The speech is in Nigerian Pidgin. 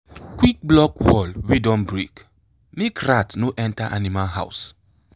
quick block wall wey don break make rat no enter animal house.